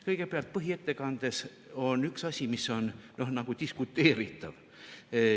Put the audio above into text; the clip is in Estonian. Kõigepealt, põhiettekandes on üks asi, mis on nagu diskuteeritav.